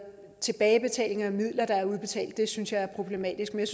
tilbagebetaling af midler der er udbetalt det synes jeg er problematisk men